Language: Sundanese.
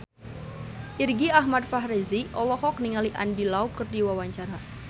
Irgi Ahmad Fahrezi olohok ningali Andy Lau keur diwawancara